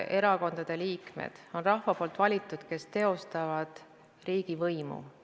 Erakondade liikmed on rahva valitud ja nad teostavad riigivõimu.